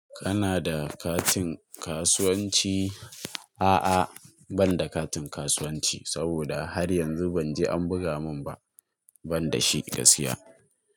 Kana da katin kasuwanci? A'a ban da katin kasuwanci saboda har yanzu banje an buga min ba, ban da shi ka gaskiya.